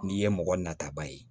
N'i ye mɔgɔ nataba ye